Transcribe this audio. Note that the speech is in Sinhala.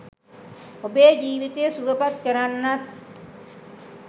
ඔබේ ජීවිතය සුවපත් කරන්නත්